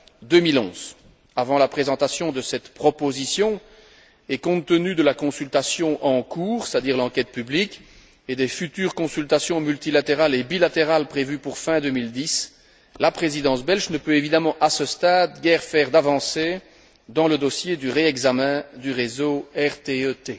2011. Avant la présentation de cette proposition, et compte tenu de la consultation en cours, c'est à dire l'enquête publique, et des futures consultations multilatérales et bilatérales prévues pour fin 2010, la Présidence belge ne peut évidemment, à ce stade, guère faire d'avancée dans le dossier du réexamen du réseau RTE T.